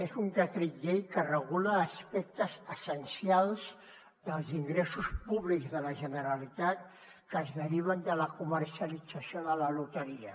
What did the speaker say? és un decret llei que regula aspectes essencials dels ingressos públics de la generalitat que es deriven de la comercialització de la loteria